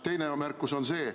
Teine märkus on veel.